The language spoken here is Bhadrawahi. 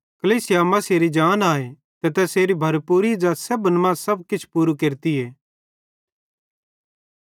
कलीसिया मसीहेरी जान आए ते तैसेरी भरपूरी ज़ै सेब्भन मां सब किछ पूरू केरतीए